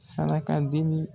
Saraka deli